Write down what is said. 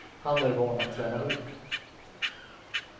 Han är van att träna hårt.